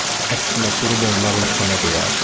Əksinə durub onlarla çənə döyərdi.